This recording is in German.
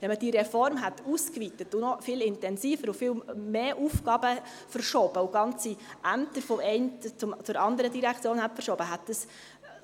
Wenn man die Reform ausgeweitet, wenn man noch viel intensiver und mehr Aufgaben verschoben und wenn man ganze Ämter von der einen in die andere Direktion verschoben hätte, hätte dies